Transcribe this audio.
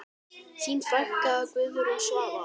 Þín frænka, Guðrún Svava.